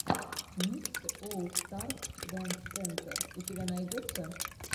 микс олл старс дэнс сентер у тебя найдется